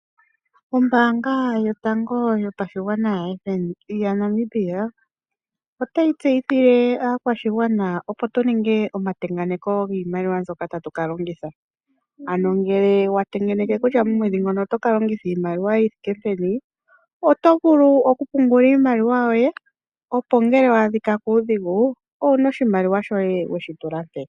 Ombaanga yotango yopashigwana yaNamibia otayi tseyithile aakwashigwana opo tu ninge omatengeneko giimaliwa mbyoka tatu ka longitha ano ngele watengeneke kutya momwedhi ngono otoka longitha iinaliwa yi thike peni oto vulu okupungula iimaliwa yoye opo ngele wa adhika kuudhigu owuna oshimaliwa shoye weshitula mpeya.